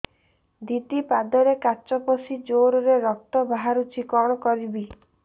ଦିଦି ପାଦରେ କାଚ ପଶି ଜୋରରେ ରକ୍ତ ବାହାରୁଛି କଣ କରିଵି